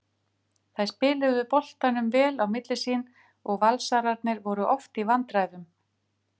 Þær spiluðu boltanum vel á milli sín og Valsararnir voru oft í vandræðum.